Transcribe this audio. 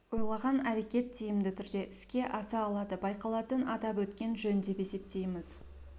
ойлаған әрекет тиімді түрде іске аса алады байқалатын атап өткен жөн деп есептейміз